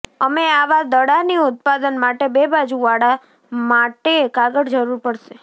અમે આવા દડાની ઉત્પાદન માટે બે બાજુવાળા માટે કાગળ જરૂર પડશે